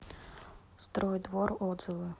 стройдвор отзывы